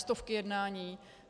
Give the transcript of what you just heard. Stovky jednání.